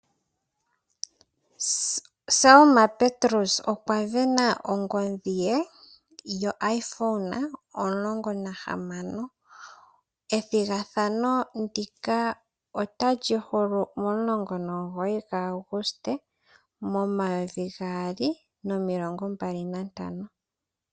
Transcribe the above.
Selma Petrus okwa sindana ongodhi ye yo iPhone 16. Ethigathano ndika otali hulu momulongo nomugoyi gwa Aguste momayovi gaali nomilongo mbali na ntano.